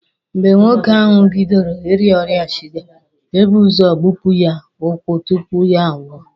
Mgbe nwoke ahụ bidoro Ị rịa ọrịa shuga, e bu ụzọ gbupụ ya ụkwụ tupu ya a nwụọ.